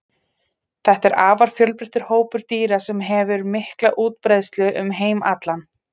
Þetta er afar fjölbreyttur hópur dýra sem hefur mikla útbreiðslu um heim allan.